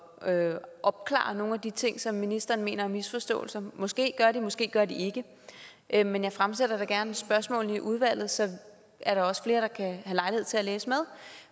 at opklare nogle af de ting som ministeren mener er misforståelser måske gør de måske gør de ikke men jeg fremsætter da gerne spørgsmålene i udvalget så er der også flere der kan have lejlighed til at læse med